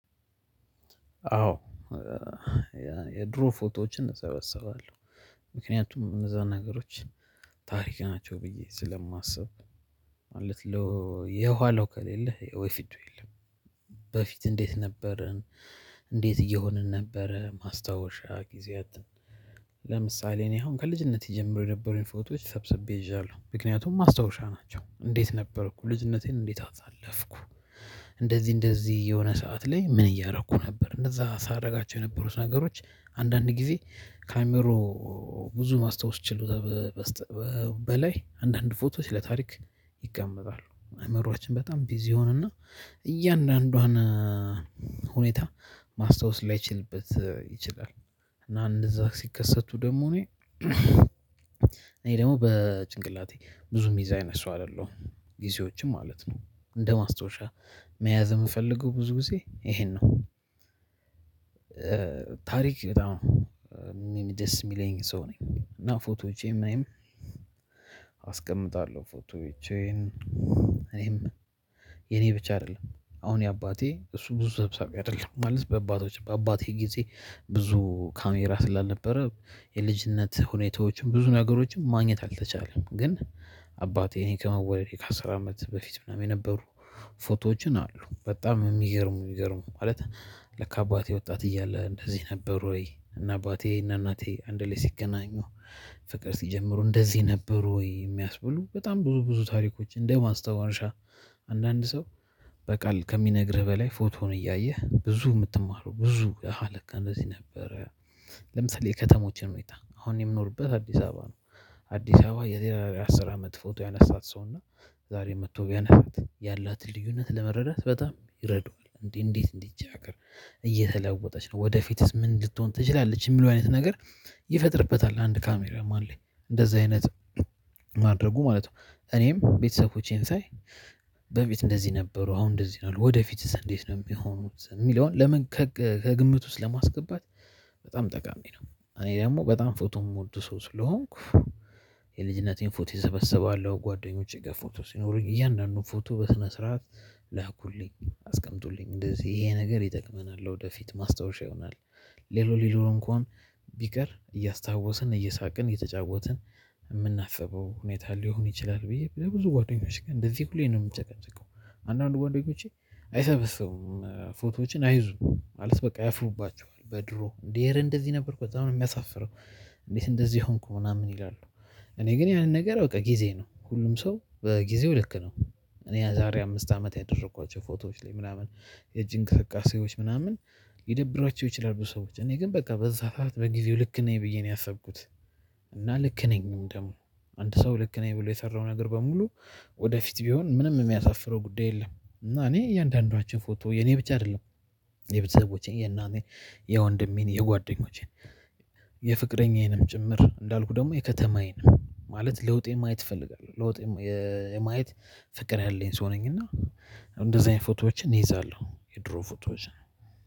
አዎ። የድሮ ፎቶዎችን እሰበስባለሁ። ምክንያቱም እነዛን ነገሮች ታሪክ ናቸው ብዬ ስለማስብ ማለት የኋለው ከሌለ የፊቱ የለም። በፊት እንዴት ነበርን? እንዴት እየሆንን ነበረ ማስታወሻ ጊዜያትን። ለምሳሌ እኔ አሁን ከልጅነት ጀምሮ የነበሩኝ ፎቶዎች ሰብስቤ ይዣለሁ ምክንያቱም ማስታወሻ ናቸው እንዴት ነበርኩ ልጅነቴን እንዴት አሳለፍኩ። እንደዚህ እንደዚህ የሆነ ሰዓት ላይ ምን እያረኩ ነበር እነዛ ሳረጋቸው የነበሩት ነገሮች አንዳንድ ጊዜ ካይምሮ ብዙ ማስታወስ ችሎታ። በላይ አንዳንድ ፎቶ ለታሪክ ይቀመጣሉ አይምሮአችን በጣም ቢዚ ይሆኖና እያንዳንዷን ሁኔታ ማስታወስ ላይችልበት ይችላል። እና እንደዛ ሲከሰቱ ደግሞ እኔ እኔ ደግሞ በጭንቅላቴ ብዙ ሚይዝ አይነት ሰው አይደለሁም። ጊዜዎችን ማለት ነው እንደ ማስታወሻ መያዝ የምፈልገው ብዙ ጊዜ ይሄን ነው። ታሪክ በጣም ደስ የሚለኝ ሰው ነኝ። እና ፎቶዎቼን እኔም አስቀምጣለሁ ፎቶዎቼን እኔም የኔ ብቻ አይደለም። አሁን የአባቴ እሱ ብዙ ሰብሳቢ አይደለም ማለት በአባቶች በአባቴ ጊዜ ብዙ ካሜራ ስላልነበረ የልጅነት ሁኔታዎችን ብዙ ነገሮችን ማግኘት አልተቻለም። ግን አባቴ እኔ ከመወለዴ ከአስር አመት በፊት ምናምን የነበሩ ፎቶዎችን አሉ በጣም የሚገርሙ የሚገርሙ ማለት ለካ አባቴ ወጣት እያለ እንደዚህ ነበር? ወይ እና አባቴ እና እናቴ አንድ ላይ ሲገናኙ ፍቅር ሲጀምሩ እንደዚህ ነበሩ። የሚያስብሉ በጣም ብዙ ብዙ ታሪኮች እንደ ማስታወሻ አንዳንድ ሰው በቃል ከሚነግርህ በላይ ፎቶህን እያየህ ብዙ የምትማረው ብዙ አሃ ለካ እንደዚህ ነበረ። ለምሳሌ ከተሞችን ሁኔታ አሁን የምኖርበት አዲስ አበባ ነው። አዲስ አበባ የዛሬ አስር አመት ፎቶ ያነሳት ሰው እና ዛሬ መጥቶ ቢያነሳት ያላትን ልዩነት ለመረዳት በጣም ይረዳዋል እንዴ እንዴት እንዲ ይቺ ሀገር እየተለወጠች ነው። ወደፊትስ ምን ልትሆን ትችላለች? የሚሉ አይነት ነገር ይፈጥርበታል። አንድ ካሜራ ማን ላይ እንደዛ አይነት ማድረጉ ማለት ነው። እኔም ቤተሰቦቼን ሳይ በፊት እንደዚህ ነበሩ አሁን እንደዚህ ነው ወደፊትስ እንዴት ነው የሚሆኑት። የሚለውን ለምን ከግምት ውስጥ ለማስገባት በጣም ጠቃሚ ነው። እኔ ደግሞ በጣም ፎቶ የምወድ ሰው ስለሆንኩ የልጅነቴን ፎቶ እሰበስባለው። ጓደኞቼ ጋር ፎቶ ሲኖሩኝ እያንዳንዱን ፎቶ በስነ ስርዓት ላኩልኝ አስቀምጡልኝ እንደዚህ ይሄ ነገር ይጠቅመናል ለወደፊት ማስታወሻ ይሆናል። ሌላው ሌላው እንኳን ቢቀር እያስታወስን እየሳቅን እየተጫወትን የምናስበው ሁኔታ ሊሆን ይችላል። ብዬ ብዙ ጓደኞቼ ጋር እንደዚህ ሁሌ ነው የምጨቀጭቀው። አንዳንድ ጓደኞቼ አይሰበስቡም ፎቶዎችን አይዙም ማለት በቃ ያፍሩባቸዋል በድሮ እንዴ እረ እንደዚህ ነበርኩ በጣም ነው የሚያሳፍረው። እንዴት እንደዚህ ሆንኩ ምናምን ይላሉ። እኔ ግን ያን ነገር በቃ ጊዜ ነው ሁሉም ሰው በጊዜው ልክ ነው። እኔ ያ ዛሬ አምስት አመት ያደረኳቸው ፎቶዎች ላይ ምናምን የጅንቅ እንቅስቃሴዎች ምናምን ሊደብሯቸው ይችላሉ። ሰዎች እኔ ግን በቃ በዛ ሰዓት በጊዜው ልክ ነኝ ብዬ ነው ያሰብኩት። እና ልክ ነኝም ደግሞ አንድ ሰው ልክ ነኝ ብሎ የሰራው ነገር በሙሉ ወደፊት ቢሆን ምንም የሚያሳፍረው ጉዳይ የለም። እና እኔ እያንዳንዷችን ፎቶ የኔ ብቻ አይደለም። የቤተሰቦቼ የእናቴ የወንድሜን የጓደኞቼን የፍቅረኛዬንም ጭምር እንዳልኩ ደግሞ የከተማዬንም ማለት ለውጤን ማየት ትፈልጋለህ ለውጤን ማየት ፍቅር ያለኝ ሰው ነኝ። እና እንደዚህ አይነት ፎቶዎችን እይዛለሁ። የድሮ ፎቶዎችን።